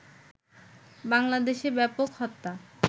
বাংলাদেশে ব্যাপক হত্যা